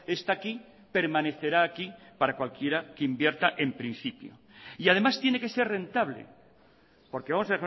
está aquí permanecerá aquí para cualquiera que invierta en principio y además tiene que ser rentable porque vamos